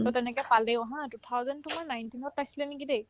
to তেনেকে কালি অহা two thousand two বা nineteen ত পাইছিলে নেকি দেই